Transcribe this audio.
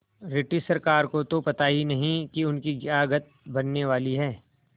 British सरकार को तो पता ही नहीं कि उसकी क्या गत बनने वाली है